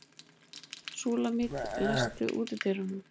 Súlamít, læstu útidyrunum.